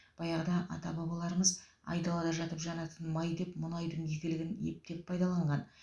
баяғыда ата бабаларымыз айдалада жатып жанатын май деп мұнайдың игілігін ептеп пайдаланған